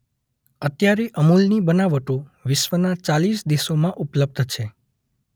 અત્યારે અમૂલની બનાવટો વિશ્વના ચાલીસ દેશોમાં ઉપલબ્ધ છે.